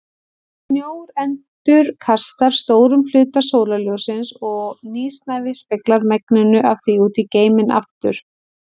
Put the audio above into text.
Snjór endurkastar stórum hluta sólarljóssins og nýsnævi speglar megninu af því út í geiminn aftur.